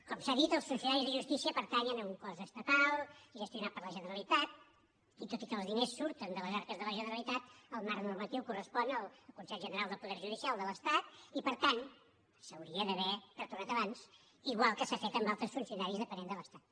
com s’ha dit els funcionaris de justícia pertanyen a un cos estatal gestionat per la generalitat i tot i que els diners surten de les arques de la generalitat el marc normatiu correspon al consell general del poder judicial de l’estat i per tant s’hauria d’haver retornat abans igual que s’ha fet amb altres funcionaris dependents de l’estat